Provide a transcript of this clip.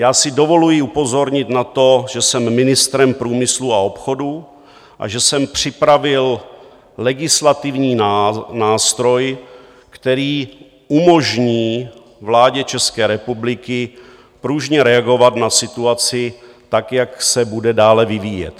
Já si dovoluji upozornit na to, že jsem ministrem průmyslu a obchodu a že jsem připravil legislativní nástroj, který umožní vládě České republiky pružně reagovat na situaci tak, jak se bude dále vyvíjet.